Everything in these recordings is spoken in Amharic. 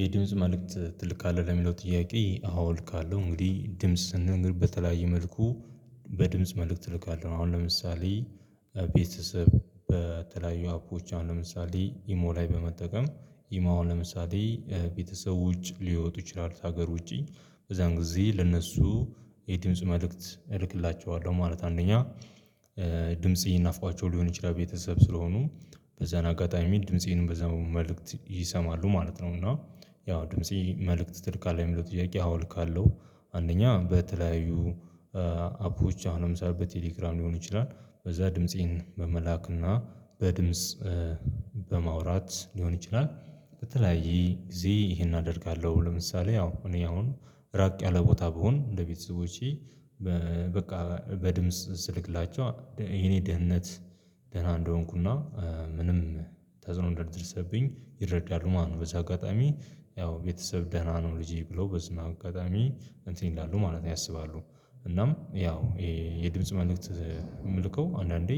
የድምጽ መልእክት ትልካለህ ለሚለው ጥያቄ አዋ እልካለሁ እንግዲህ ድምጽ ስልላገር በተለያየ መልኩ በድምጽ መልእክት እልካለሁ። አሁን ለምሳሌ ቤተሰብ በተለያዩ አፖች አሁን ለምሳሌ ኢሞ ላይ በመጠቀም። ኢሞ ለምሳሌ ቤተሰብ ውጭ ሊወጡ ይችላሉ ከሀገር ውጪ በዛን ጊዜ ለእነሱ የድምጽ መልእክት እልክላችኋለሁ ማለት አንደኛ ድምጽ ናፍቋቸው ሊሆን ይችላል ቤተሰብ ስለሆኑ በዛን አጋጣሚ የሚል ድምፄንም በዛ መልእክት ይሰማሉ ማለት ነው። እና ያው ድምፄ መልእክት ትልካለክ አለ የሚለው ትያቄ አዎ እልካለው። አንደኛ በተለያዩ አፖች አሁንም ለምሳሌ ቴሌግራም ሊሆን ይችላል በዛ ድምፄን በመላክና በድምጽ በማውራት ሊሆን ይችላል። በተለያየ ጊዜ ይሄን አደርጋለሁ ለምሳሌ ያው እኔ አሁን ራቅ ያለ ቦታ ብሆን እንደ ቤተሰቦቼ በቃ በድምጽ ስልክላቸው የኔ ደህንነት ደህና እንደሆንኩና ምንም ተጽኖ እንደደረሰብኝ ይረዳሉ። ማነው በዚህ አጋጣሚ ያው ቤተሰብ ደህና ነው ልጄ ብሎ በዝና አጋጣሚ እንትን ይላሉ ማለት ያስባሉ። እናም ያው የድምጽ መልእክት የምልከው አንዳንዴ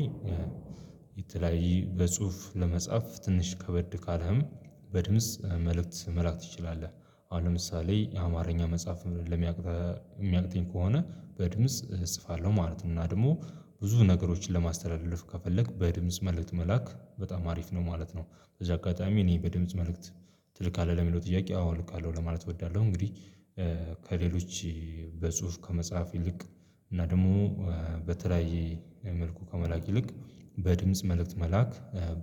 የተለያየ በጽሁፍ ለመጻፍ ትንሽ ከበድ ካለህም በድምጽ መልእክት መላክ ትችላለህ። አሁን ለምሳሌ የአማርኛ መጽሐፍ ለሚያቅተኝ ከሆነ በድምጽ እጽፋለሁ ማለት ነው። እና ደግሞ ብዙ ነገሮችን ለማስተላለፍ ከፈለክ በድምጽ መልእክት መላክ በጣም አሪፍ ነው ማለት ነው። እዛ አጋጣሚ እኔ በድምጽ መልእክት ትልካለህ ለሚለው ጥያቄ አዎ እልካለሁ ለማለት እወዳለሁ። እንግዲህ ከሌሎች በጽሁፍ ከመጽሐፍ ይልቅ እና ደግሞ በተለያየ መልኩ ከመላክ ይልቅ በድምጽ መልእክት መላክ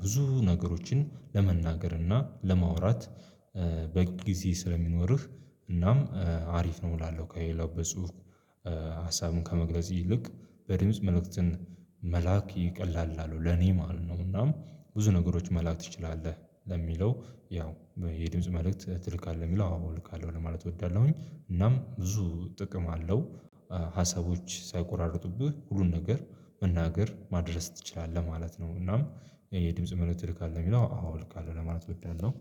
ብዙ ነገሮችን ለመናገር እና ለማውራት በጊዜ ስለሚኖርህ እናም አሪፍ ነው እላለሁ። ከሌላው በጽሁፍ ሀሳብን ከመግለጽ ይልቅ በድምጽ መልእክትን መላክ ይቀላል እላለው ለኔ ማለት ነው። እና ብዙ ነገሮች መላክ ትችላለህ ለሚለው ያው የድምጽ መልእክት ትልካለህ የሚለው አዎ እልካለሁ ለማለት እወዳለሁኝ እናም ብዙ ጥቅም አለው። ሀሳቦች ሳይቆራርጡብህ ሁሉን ነገር መናገር ማድረስ ትችላለህ ማለት ነው። እናም የድምጽ መሆን ትልካለህ የሚለው አዎ ልካለሁ ለማለት እወዳለሁ።